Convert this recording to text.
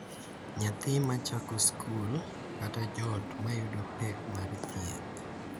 Nyathi ma chako skul, kata joot ma yudo pek mar thieth—